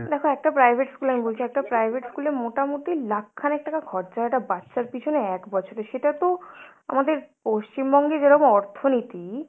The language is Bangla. দেখ একটা private school এ আমি বলছি, একটা private school এ মোটামুটি লাখ খানেক টাকা খরচা একটা বাচ্চার পিছনে এক বছরে। সেটা তো আমাদের পশ্চিমবঙ্গে যেরকম অর্থনীতি